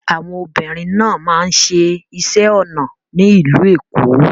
Àwọn obìnrin náà máa ń ṣẹ iṣẹ́ onà ní ilú Ékó